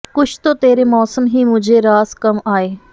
ਕੁਛ ਤੋ ਤੇਰੇ ਮੌਸਮ ਹੀ ਮੁਝੇ ਰਾਸ ਕਮ ਆਏ